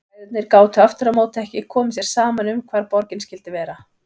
Bræðurnir gátu aftur á móti ekki komið sér saman um hvar borgin skyldi vera.